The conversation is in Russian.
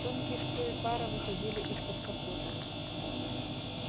тонкие струи пара вылетали из-под капота